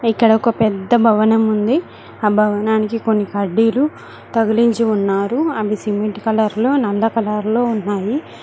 ఇక్కడ ఒక పెద్ద భవనం ఉంది ఆ భవనానికి కొన్ని కడ్డీలు తగిలించి ఉన్నారు అవి సిమెంట్ కలర్ లో నల్ల కలర్ లో ఉన్నాయి.